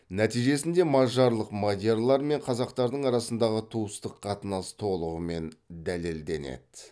нәтижесінде мажарлық мадиярлар мен қазақтардың арасындағы туыстық қатынас толығымен дәлелденеді